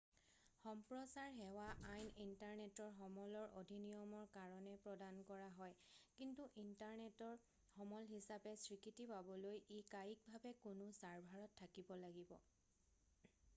সম্প্ৰচাৰ সেৱা আইন ইণ্টাৰনেটৰ সমলৰ অধিনিয়মৰ কাৰণে প্ৰদান কৰা হয় কিন্তু ইণ্টাৰনেটৰ সমল হিচাপে স্বীকৃতি পাবলৈ ই কায়িকভাৱে কোনো ছাৰ্ভাৰত থাকিব লাগিব